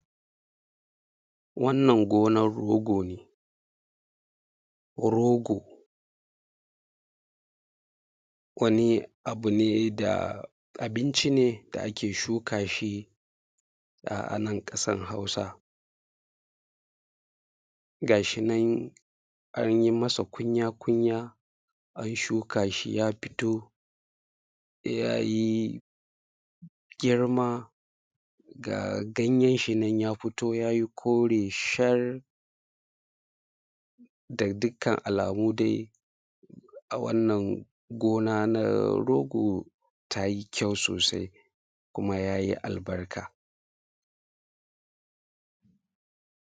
Wannan gonan rogo ne. Rogo, wani abu ne da, abinci ne da akee shukaa shi a nan ƙasar Hausa. Ga shi nan an yi masa kunya-kunya, an shuka shi ya fitoo, ya yi girma, ga ganyen shi nan ya fitoo ya yi kore shar. Ga dukkan alamu dai a wannan gonaa na rogo taa yi kyau sosai kumaa yaa yi albarka.